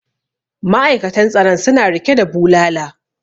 ma'aikatan tsaron suna rike da bulala